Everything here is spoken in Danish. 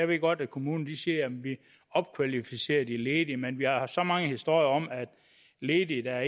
ved godt at kommunen siger at de opkvalificerer de ledige men vi har hørt så mange historier om at ledige der